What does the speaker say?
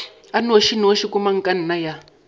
a nnošinoši wa komangkanna ya